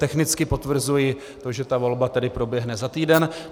Technicky potvrzuji to, že ta volba tedy proběhne za týden.